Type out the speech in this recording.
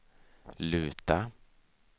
luta